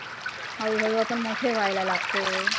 हळुहळू आपन मोठ व्हायला लागतो.